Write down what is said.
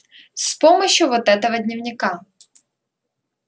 с помощью вот этого дневника